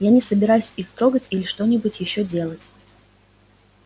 я не собираюсь их трогать или что-нибудь ещё делать